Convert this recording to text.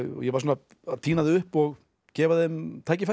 ég var svona að tína þau upp og gefa þeim tækifæri